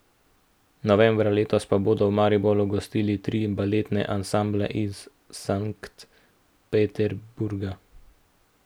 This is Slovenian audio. Novembra letos pa bodo v Mariboru gostili tri baletne ansamble iz Sankt Peterburga.